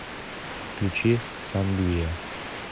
включи сангвия